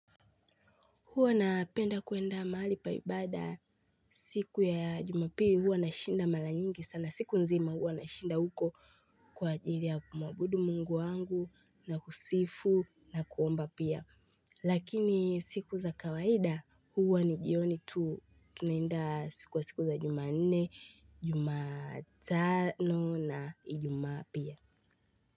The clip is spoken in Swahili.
Huwa napenda kwenda mahali pa ibada siku ya jumapiri huwa na shinda mala nyingi sana siku nzima huwa na shinda huko kwa jili ya kumwabudu mungu wangu na kusifu na kuomba pia. Lakini siku za kawaida huwa ni jioni tu tunaenda siku wa siku za jumanne, jumatano na ijumaa pia.